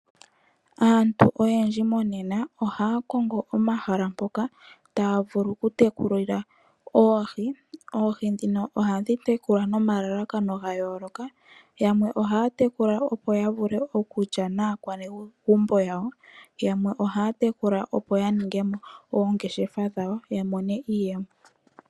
Aantu oyendji monena, ohaya kongo omahala mpoka taya vulu oku tekulila oohi. Oohi dhino ohadhi tekulwa nomalalakano ga yooloka. Yamwe ohaya tekula opo ya vule okulya naakwanegumbo yawo, yamwe ohaya tekula opo ya ningemo oongeshefa dhawo yo ya mone iiyemo.